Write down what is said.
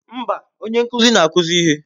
Mba, onye nkuzi ka na-akụzi ihe.